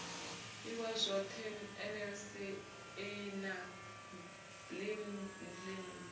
iwa zwoṱhe nlsa na blindlib